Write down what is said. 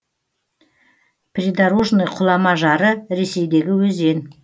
придорожный құлама жары ресейдегі өзен